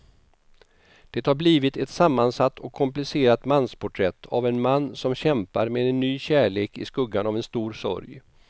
Det har blivit ett sammansatt och komplicerat mansporträtt av en man som kämpar med en ny kärlek i skuggan av en stor sorg.